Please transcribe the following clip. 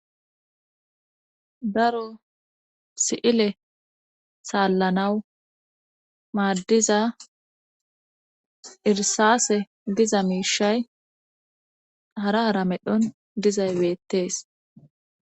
daro si7ile saallanawu maaddiza irsaase diza miishay hara hara medhon dizay beettees